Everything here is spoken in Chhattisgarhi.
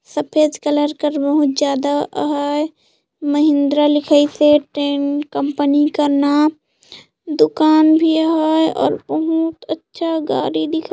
सफेद कलर का रूम ज्यादा हैं महिंद्रा लोकल फोर्टीन कंपनी का नाम दुकान भी है और बहुत अच्छा गाड़ी दिखाई--